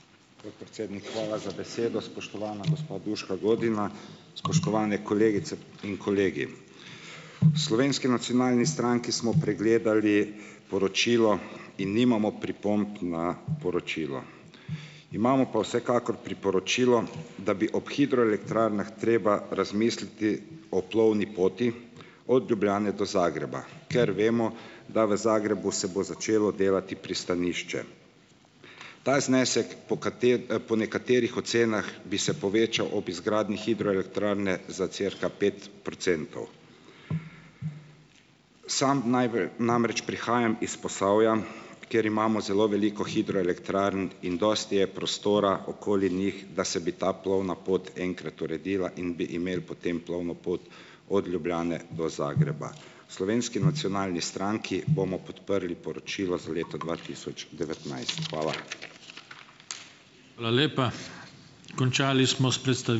Podpredsednik, hvala za besedo. Spoštovana gospa Duška Godina, spoštovane kolegice in kolegi! V Slovenski nacionalni stranki smo pregledali poročilo in nimamo pripomb na poročilo. Imamo pa vsekakor priporočilo, da bi ob hidroelektrarnah treba razmisliti o plovni poti od Ljubljane do Zagreba, ker vemo, da v Zagrebu se bo začelo delati pristanišče. Ta znesek po kati po nekaterih ocenah bi se povečal ob izgradnji hidroelektrarne za cirka pet procentov. Sam najbolj namreč prihajam iz Posavja, kjer imamo zelo veliko hidroelektrarn, in dosti je prostora okoli njih, da se bi ta plovna pot enkrat uredila in bi imeli potem plovno pot od Ljubljane do Zagreba. V Slovenski nacionalni stranki bomo podprli poročilo za leto dva tisoč devetnajst. Hvala.